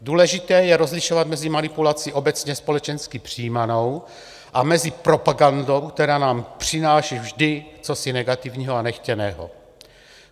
Důležité je rozšiřovat mezi manipulací obecně společensky přijímanou a mezi propagandou, která nám přináší vždy cosi negativního a nechtěného.